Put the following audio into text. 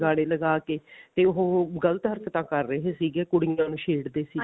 ਗਾਨੇ ਲਗਾ ਕੇ ਤੇ ਉਹ ਗਲਤ ਹਰਕਤਾਂ ਕਰ ਰਹੇ ਸੀਗੇ ਕੁੜੀਆਂ ਨੂੰ ਛੇੜ ਦੇ ਸੀਗੇ